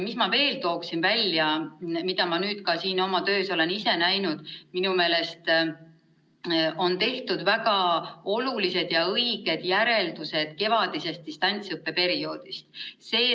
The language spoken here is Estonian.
Veel tooksin esile selle, mida ma olen ise nüüd oma töös näinud, nimelt, minu meelest on tehtud väga olulised ja õiged järeldused kevadisest distantsõppeperioodist.